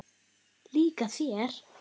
Líka þeir?